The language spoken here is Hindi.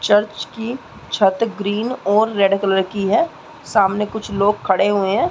चर्च की छत ग्रीन और रेड कलर की है सामने कुछ लोग खड़े हुए है।